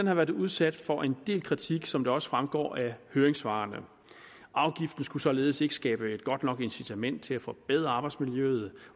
har været udsat for en del kritik som det også fremgår af høringssvarene afgiften skulle således ikke skabe et godt nok incitament til at forbedre arbejdsmiljøet